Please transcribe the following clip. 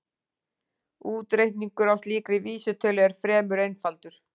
Útreikningur á slíkri vísitölu eru fremur einfaldur.